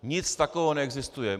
Nic takového neexistuje.